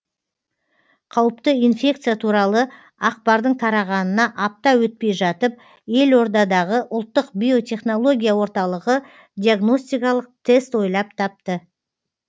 қауіпті инфекция туралы ақпардың тарағанына апта өтпей жатып елордадағы ұлттық биотехнология орталығы диагностикалық тест ойлап тапты